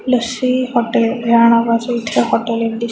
lassi hotel या नावाचे इथे हॉटेल --